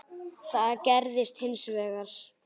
Það gerðist hins vegar.